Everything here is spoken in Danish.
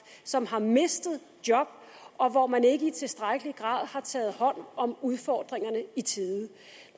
som har mistet job og hvor man ikke i tilstrækkelig grad har taget hånd om udfordringerne i tide